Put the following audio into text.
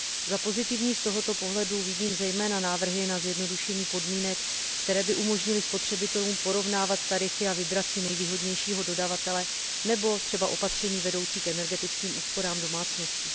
Za pozitivní z tohoto pohledu vidím zejména návrhy na zjednodušení podmínek, které by umožnily spotřebitelům porovnávat tarify a vybrat si nejvýhodnějšího dodavatele, nebo třeba opatření vedoucí k energetickým úsporám domácností.